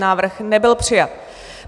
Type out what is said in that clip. Návrh nebyl přijat.